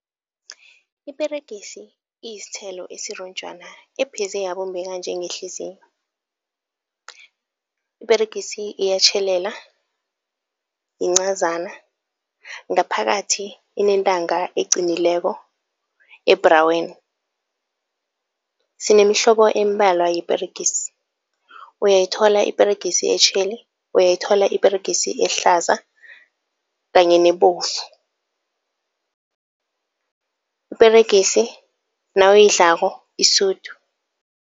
Iperegisi iyisithelo esironjwana epheze yabumbeka njengehliziyo. Iperegisi iyatjhelela, yincazana ngaphakathi inentanga eqinileko ebhraweni. Sinemihlobo embalwa yeperegisi. Uyayithola iperegisi etjheli, uyayithola iperegisi ehlaza kanye nebovu. Iperegisi nawuyidlako isudu.